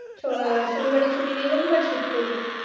Show~ শনিবারে ছুটি নেই রবিবার shoot করলি।